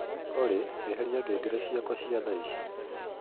olly eheria ngengere ciakwa cia thaĩcĩ